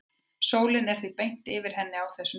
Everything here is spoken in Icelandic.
sólin er því beint yfir henni á þessum tíma